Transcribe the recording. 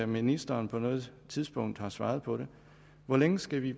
ministeren på noget tidspunkt har svaret på det hvor længe skal vi